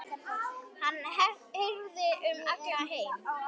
Hann heyrist um allan heim.